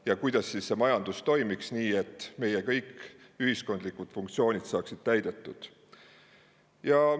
– ja kuidas meie majandus toimiks nii, et kõik ühiskondlikud funktsioonid saaksid täidetud.